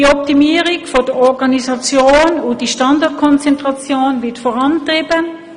Die Optimierung der Organisation und die Standortkonzentration werden vorangetrieben.